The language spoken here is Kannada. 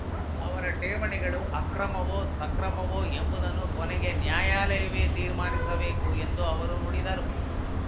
ಆದರೆ ಠೇವಣಿಗಳು ಅಕ್ರಮವೋಸಕ್ರಮವೋ ಎಂಬುದನ್ನು ಕೊನೆಗೆ ನ್ಯಾಯಾಲಯವೇ ತೀರ್ಮಾನಿಸಬೇಕು ಎಂದು ಅವರು ನುಡಿದರು